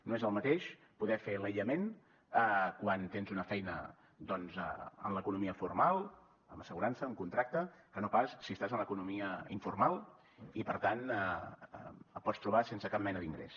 no és el mateix poder fer l’aïllament quan tens una feina doncs en l’economia formal amb assegurança amb contracte que no pas si estàs en l’economia informal i per tant et pots trobar sense cap mena d’ingrés